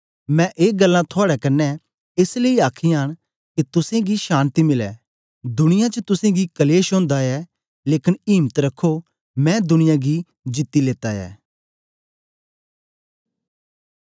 मैं ए गल्लां थुआड़े कन्ने एस लेई आखीयां न के तुसेंगी शान्ति मिलै दुनिया च तुसेंगी कलेश ओंदा ऐ लेकन इम्त रखो मैं दुनिया गी जीती लेत्ता ऐ